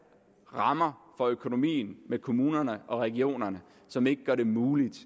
rammer for økonomien med kommunerne og regionerne som ikke gør det muligt